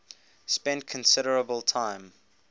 spent considerable time